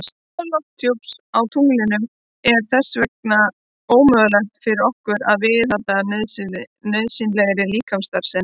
Án lofthjúps á tunglinu er þess vegna ómögulegt fyrir okkur að viðhalda nauðsynlegri líkamsstarfsemi.